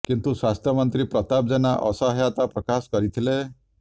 କିନ୍ତୁ ସ୍ୱାସ୍ଥ୍ୟ ମନ୍ତ୍ରୀ ପ୍ରତାପ ଜେନା ଅସହାୟତା ପ୍ରକାଶ କରିଥିଲେ